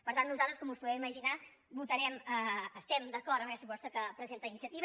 per tant nosaltres com us podeu imaginar estem d’acord amb aquesta proposta que presenta iniciativa